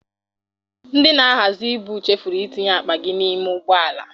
Ndị na-ahazị ibu chefuru itinye akpa gị n'ime ụgbọala.